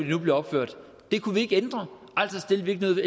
nu bliver opført det kunne vi ikke ændre altså stillede vi